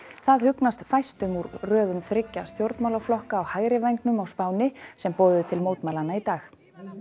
það hugnast fæstum úr röðum þriggja stjórnmálaflokka á hægri vængnum á Spáni sem boðuðu til fjölmennra mótmælanna í dag